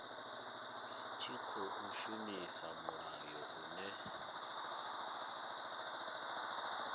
tshi khou shumisa mulayo une